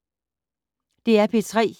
DR P3